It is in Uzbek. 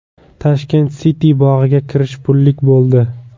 Tashkent City bog‘iga kirish pullik bo‘ldi.